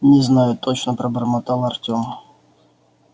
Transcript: не знаю точно пробормотал артем